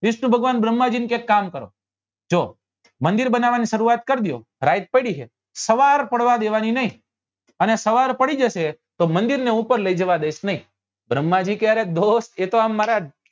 વિષ્ણુ ભગવાન ભ્રમ્હા જી ને કે એક કામ કરો જો મંદિર બનવવા ની સરુઆત કર દો રાત પડી છે સવાર પાડવા દેવાની નહિ અને સવાર પડી જશે તો મંદિર ઉપર લઇ જવા દઈસ નહિ ભ્રમ્હા જી કે અરે દોસ્ત એ તો આમ મારા